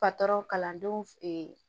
Patɔrɔn kalandenw